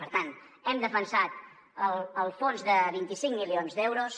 per tant hem defensat el fons de vint cinc milions d’euros